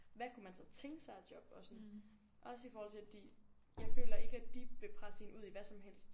Hvad kunne man så tænke sig af job og sådan også i forhold til de jeg føler ikke at de vil presse en ud i hvad som helst